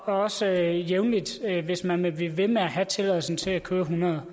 også jævnligt hvis man vil blive ved med at have tilladelsen til at køre hundrede